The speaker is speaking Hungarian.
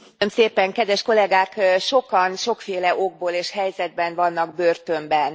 Elnök Úr! Kedves Kollegák! Sokan, sokféle okból és helyzetben vannak börtönben.